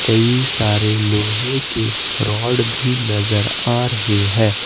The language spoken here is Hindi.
कई सारे लोहे के रॉड भी नजर आ रही है।